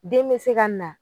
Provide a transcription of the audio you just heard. Den be se ka na